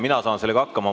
Mina saan sellega hakkama.